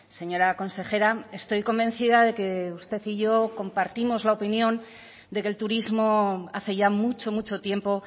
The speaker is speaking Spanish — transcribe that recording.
señora consejera estoy convencida de que usted y yo compartimos la opinión de que el turismo hace ya mucho mucho tiempo